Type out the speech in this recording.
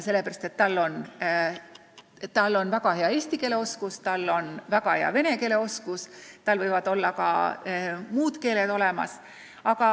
Sellepärast et tal on väga hea eesti keele oskus, tal on väga hea vene keele oskus ja tal võivad olla ka muud keeled suus.